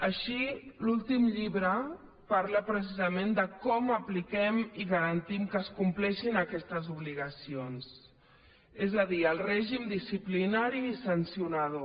així l’últim llibre parla precisament de com apliquem i garantim que es compleixin aquestes obligacions és a dir el règim disciplinari i sancionador